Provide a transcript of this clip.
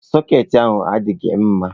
Sọketị ahụ adịghị mma.